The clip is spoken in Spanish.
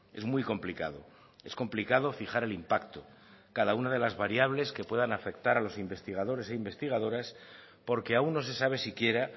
es muy complicado es complicado fijar el impacto cada una de las variables que puedan afectar a los investigadores e investigadoras porque aún no se sabe siquiera